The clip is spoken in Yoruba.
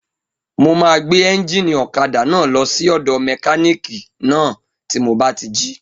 Mo máa gbé éúnjínì ọ̀kadà náà lọ sí ọ̀dọ̀ mẹkánìkì náà tí mo bá ti jí